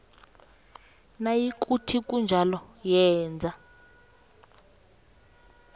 nayikuthi kunjalo yenza